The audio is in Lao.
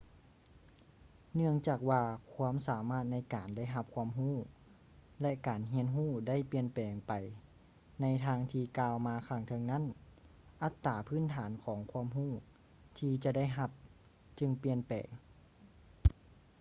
ເນື່ອງຈາກວ່າຄວາມສາມາດໃນການໄດ້ຮັບຄວາມຮູ້ ແລະ ການຮຽນຮູ້ໄດ້ປ່ຽນແປງໄປໃນທາງທີ່ກ່າວມາຂ້າງເທິງນັ້ນ ອັດຕາພື້ນຖານຂອງຄວາມຮູ້ທີ່ຈະໄດ້ຮັບຈຶ່ງປ່ຽນແປງ